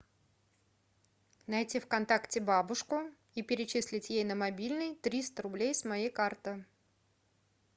найти в контакте бабушку и перечислить ей на мобильный триста рублей с моей карты